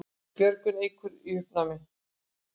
Björgun Eikar í uppnámi